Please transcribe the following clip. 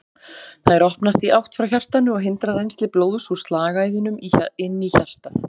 Þær opnast í átt frá hjartanu og hindra rennsli blóðs úr slagæðunum inn í hjartað.